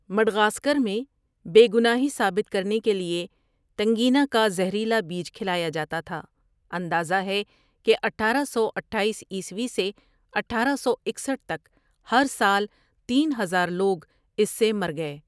Madagascar میں بے گناہی ثابت کرنے کے لیے تنگینا کا زہریلا بیج کھلایا جاتا تھا اندازہ ہے کہ اٹھارہ سو اٹھایس عیسوی سے اٹھارہ سو اکسٹھ تک ہر سال تین ہزار لوگ اس سے مر گئے۔